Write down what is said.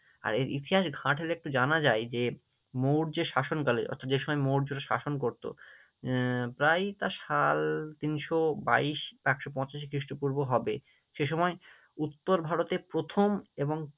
আর এর ইতিহাস একটু ঘাঁটলে জানা যায় যে, মৌর্য শাসনকালে অর্থাৎ যে সময় মৌর্য শাসন করতো আহ প্রায় তার সাল তিনশো বাইশ একশো পঁচাশি খ্রীষ্টপূর্ব হবে, সেসময় উত্তর ভারতে প্রথম এবং